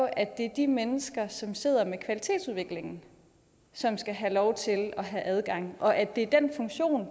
at det er de mennesker som sidder med kvalitetsudviklingen som skal have lov til at have adgang og at det er den funktion